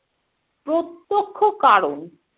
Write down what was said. প্রত্যক্ষ কারণ।